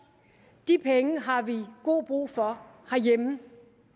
de penge har vi god brug for herhjemme